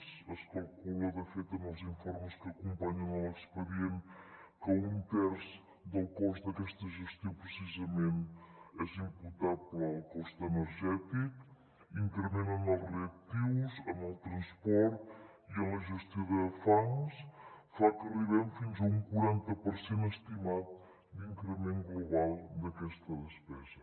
es calcula de fet en els informes que acompanyen l’expedient que un terç del cost d’aquesta gestió precisament és imputable al cost energètic increment en els reactius en el transport i en la gestió de fangs fa que arribem fins a un quaranta per cent estimat d’increment global d’aquesta despesa